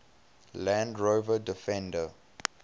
land rover defender